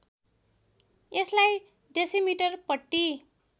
यसलाई डेसिमिटर पट्टी